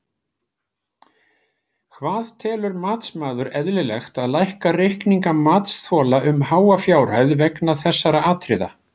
Hvað telur matsmaður eðlilegt að lækka reikninga matsþola um háa fjárhæð vegna þessara atriða?